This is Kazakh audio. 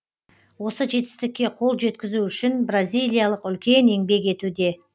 осы жетістікке қол жеткізу үшін бразилиялық үлкен еңбек етуде